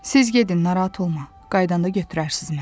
Siz gedin narahat olma, qayıdanda götürərsiz məni.